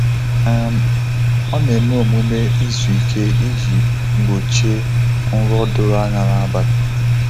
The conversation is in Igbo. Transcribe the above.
um Ọ na-eme omume izuike iji gbochie nrọ doro anya n’abalị.